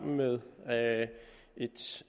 med